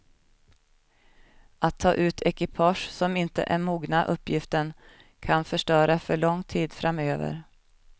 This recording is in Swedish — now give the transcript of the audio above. Att ta ut ekipage som inte är mogna uppgiften kan förstöra för långt tid framöver.